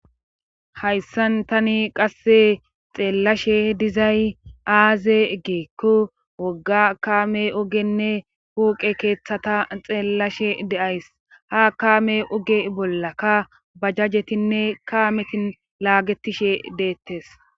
hayssan tani qasse xeellashe dizay aaze egeekko wogga kaame ogenne puqe keeththata xeellashe deays ha kaame oge bolla ka ba jajjetinne kaametin laagetishe deettes